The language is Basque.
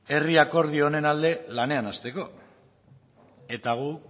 herri akordio honen alde lanean hasteko eta gu